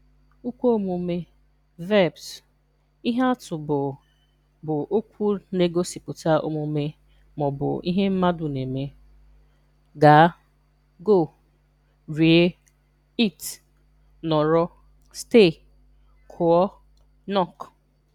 Ukwuomume (Verbs): Ihe atụ bụ bụ okwu na-egosipụta omume ma ọ bụ ihe mmadu na-eme: Gaa (Go). Rie (Eat). Nọrọ (Stay). Kụọ (Knock).